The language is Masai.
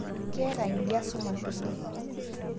Keeta ldia sumash oleng'